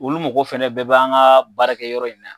Olu mɔgɔw fɛnɛ bɛɛ b'an ka baarakɛ yɔrɔ in na yan